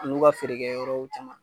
A n'u ka feerekɛyɔrɔw caman